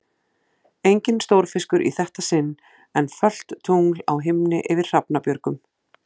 Enginn stórfiskur í þetta sinn, en fölt tungl á himni yfir Hrafnabjörgum.